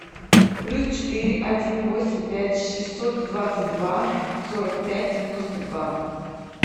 плюс четыре один восемь пять шестьсот двадцать два сорок пять девяносто два